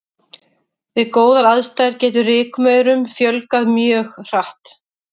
Við góðar aðstæður getur rykmaurum fjölgað mjög hratt.